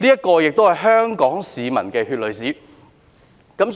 這亦都是香港市民的血淚史。